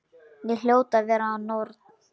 Ég hljóti að vera norn.